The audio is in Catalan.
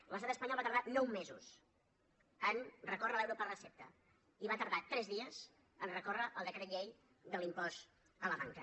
l’estat espanyol va tardar nou mesos en recórrer l’euro per recepta i va tardar tres dies en recórrer el decret llei de l’impost a la banca